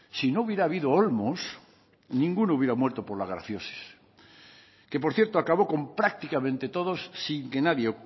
si no hubiera habido olmos ninguno hubiera muerto por la grafiosis que por cierto acabó con prácticamente todos sin que nadie